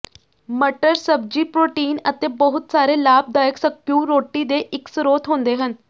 ਮਟਰ ਸਬਜ਼ੀ ਪ੍ਰੋਟੀਨ ਅਤੇ ਬਹੁਤ ਸਾਰੇ ਲਾਭਦਾਇਕ ਸਕਿਊਰੋਟੀ ਦੇ ਇੱਕ ਸਰੋਤ ਹੁੰਦੇ ਹਨ